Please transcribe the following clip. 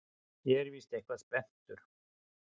Ég er víst eitthvað spenntur.